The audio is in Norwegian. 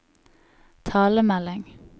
talemelding